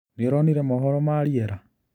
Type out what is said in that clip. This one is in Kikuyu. Nĩũronire mohoro ma rĩera?